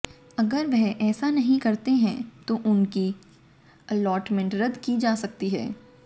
अगर वह ऐसा नहीं करते हैं तो उनकी अलॉटमेंट रद्द की जा सकती है